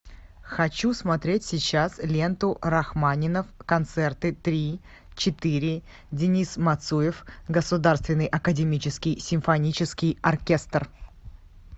хочу смотреть сейчас ленту рахманинов концерты три четыре денис мацуев государственный академический симфонический оркестр